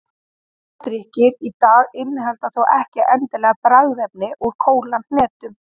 Kóladrykkir í dag innihalda þó ekki endilega bragðefni úr kólahnetu.